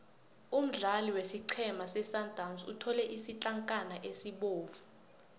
umdlali wesiqhema sesundowns uthole isitlankana esibovu